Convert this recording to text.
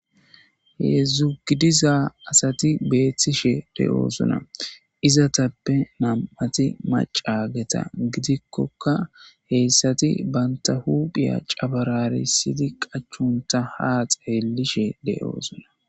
Hedzugidiza asati beethtishe de'oosuna izatappe nam'ati macageta gidikkoka heyssati banta huphiya cabararisidi qachunta haa xeelishe de'oosuna.